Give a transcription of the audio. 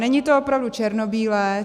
Není to opravdu černobílé.